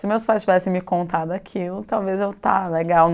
Se meus pais tivessem me contado aquilo, talvez eu estava legal.